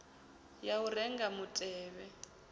ya u renga mutevhe wa